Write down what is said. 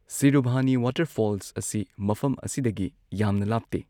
ꯁꯤꯔꯨꯚꯥꯅꯤ waterfalls ꯑꯁꯤ ꯃꯐꯝ ꯑꯁꯤꯗꯒꯤ ꯌꯥꯝꯅ ꯂꯥꯞꯇꯦ꯫